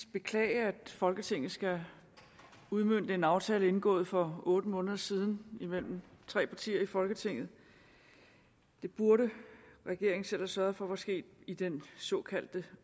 beklage at folketinget skal udmønte en aftale indgået for otte måneder siden imellem tre partier i folketinget det burde regeringen selv have sørget for var sket i den såkaldte